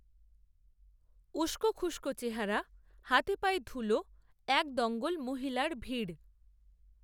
উস্কোখুস্কো চেহারা, হাতেপায়ে ধুলো, এক দঙ্গল মহিলার ভিড়